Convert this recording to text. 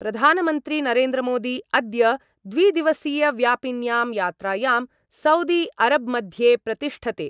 प्रधानमन्त्री नरेंद्रमोदी अद्य द्विदिवसीयव्यापिन्यां यात्रायां सौदी अरब्मध्ये प्रतिष्ठते।